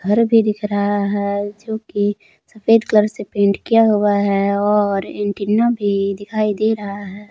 घर भी दिख रहा है जोकि सफेद कलर से पेंट किया हुआ है और एंटीना भी दिखाई दे रहा है।